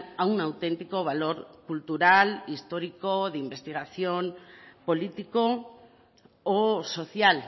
aún auténtico valor cultural histórico de investigación político o social